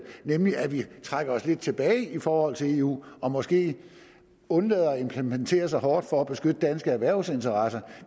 nemlig at vi trækker os lidt tilbage i forhold til eu og måske undlader at implementere så hårdt for at beskytte danske erhvervsinteresser